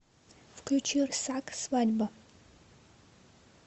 включи рсак свадьба